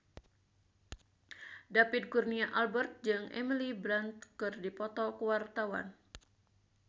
David Kurnia Albert jeung Emily Blunt keur dipoto ku wartawan